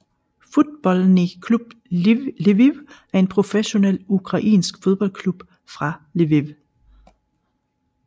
Futbolnij Klub Lviv er en professionel ukrainsk fodboldklub fra Lviv